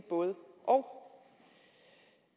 både og